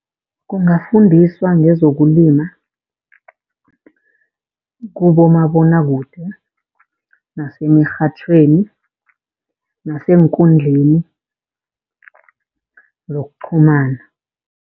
Kungafundiswa ngezokulima kubomabonwakude, emirhatjhweni neenkundleni zokuqhumana.